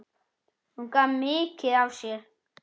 Hún gaf mikið af sér.